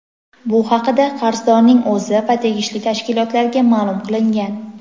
bu haqida qarzdorning o‘zi va tegishli tashkilotlarga ma’lum qilingan.